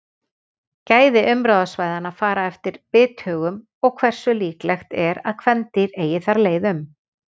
Gæði umráðasvæðanna fara eftir bithögum og hversu líklegt er að kvendýr eigi þar leið um.